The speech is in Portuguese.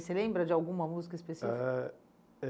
E você lembra de alguma música específica? Ah é